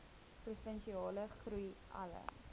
provinsiale groei alle